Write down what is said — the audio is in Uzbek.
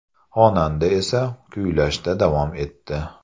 Xonanda esa kuylashda davom etdi.